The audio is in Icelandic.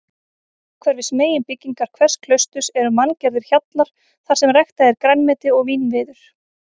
Umhverfis meginbyggingar hvers klausturs eru manngerðir hjallar þarsem ræktað er grænmeti og vínviður.